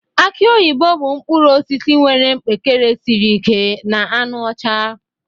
Aki oyibo bụ mkpụrụ osisi nwere mkpekere siri ike na anụ ọcha.